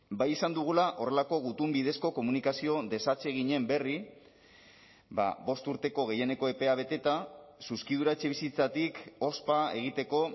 bai izan dugula horrelako gutun bidezko komunikazio desatseginen berri bost urteko gehieneko epea beteta zuzkidura etxebizitzatik ospa egiteko